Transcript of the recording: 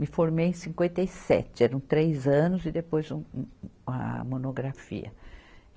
Me formei em cinquenta e sete, eram três anos e depois, um, um a monografia.